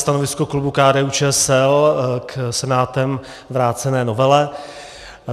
Stanovisko klubu KDU-ČSL k Senátem vrácené novele.